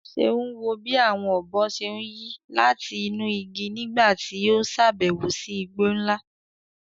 Ṣeun wo bí àwọn ọ̀bọ ṣe ń yí láti inú igi nígbà tí ó ṣàbẹ̀wò sí igbó ńlá.